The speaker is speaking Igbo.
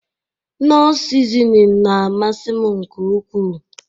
Knọ sizinin na-amasị m nke ukwu.